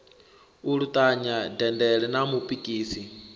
u luṱanya dendele na mupikisi